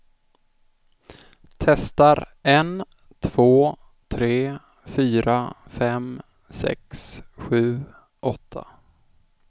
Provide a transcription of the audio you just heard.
Testar en två tre fyra fem sex sju åtta.